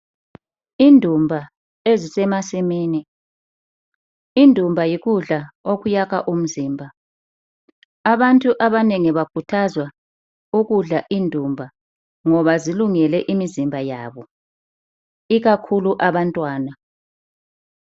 Indumba ezisemasimini , indumba yikudla okuyakha umzimba. Abantu abanengi bakhuthazwa ukudla indumba ngoba zilungele imizimba yabo ikakhulu abantwana.